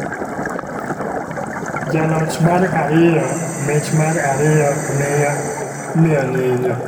Ja loch mar ariyo mich mar ariyo miyo nyinyo